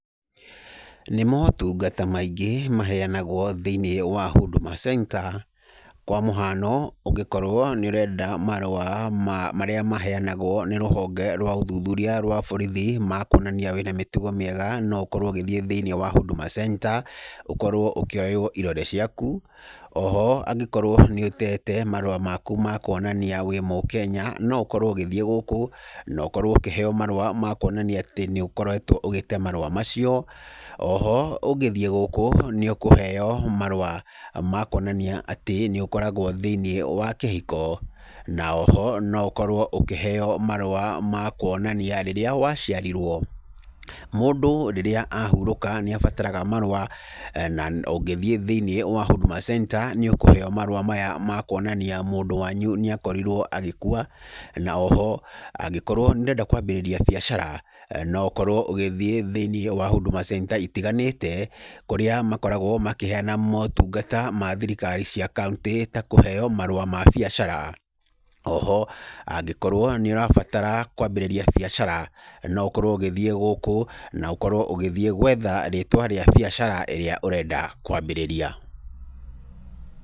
Nĩ motungata maingĩ maheyanagwo thĩinĩ wa Huduma Centre. Kwa mũhano ũngĩkorwo nĩ ũrenda marũa marĩa maheyanagwo nĩ rũhonge rwa ũthuthũria rwa borithi ma kuonania wĩna mĩtugo mĩega, no ũkorwo ũgĩthiĩ thĩinĩ wa Huduma Centre ũkorwo ũkĩoywo irore ciaku. Oho angĩkorwo nĩ ũtete marũa maku ma kuonania wĩ mũkenya no ũkorwo ũgĩthie gũkũ na ũkorwo ũkĩheyo marũa ma kuonania atĩ nĩũkoretwo ũgĩte marũa macio. Oho ũngĩthie gũkũ nĩ ũkũheyo marũa ma kuonania atĩ nĩũkoragwo thĩinĩ wa kĩhiko. Na oho ũkorwo ũkĩheo marũa ma kuonania rĩrĩa waciarirwo. Mũndũ rĩrĩa ahurũka nĩabataraga marũa na ũngĩthiĩ thĩinĩ wa Huduma Centre nĩũkũheyo marũa maya ma kuonania mũndũ wanyu nĩakorirwo agĩkua. Na oho angĩkorwo nĩũrenda kwambĩrĩria biacara no ũkorwo ũgĩthiĩ thĩinĩ wa Huduma Centre itiganĩte kũrĩa makoragwo makĩheyana motungata na thirikari cia kauntĩ ta kũheyo marũa ma biacara. Oho angĩkorwo nĩũrenda kwambĩrĩria biacara no ũkorwo ũgĩthiĩ gũkũ na ũkorwo ũgĩthiĩ gwetha rĩtwa rĩa biacara ĩrĩa ũrenda kwambĩrĩria.